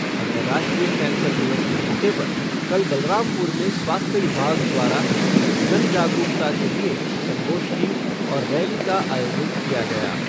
अंतर्राष्ट्रीय कैंसर दिवस के मौके पर कल बलरामपुर में स्वास्थ्य विभाग द्वारा जन जागरूकता के लिए संगोष्ठी और रैली का आयोजन किया गया।